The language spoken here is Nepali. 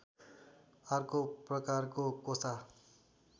अर्को प्रकारको कोसा